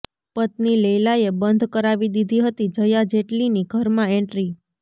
પત્ની લૈલાએ બંધ કરાવી દીધી હતી જયા જેટલીની ઘરમાં એન્ટ્રી